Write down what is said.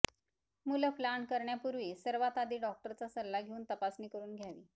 मुलं प्लान करण्यापूर्वी सर्वात आधी डॉक्टरचा सल्ला घेऊन तपासणी करून घ्यावी